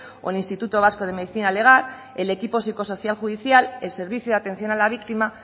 o el instituto vasco de medicina legal el equipo psicosocial judicial el servicio de atención a la víctima